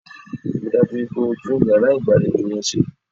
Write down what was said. Ríi dájú wípé o tún iyàrá ìgbàlejò yẹn se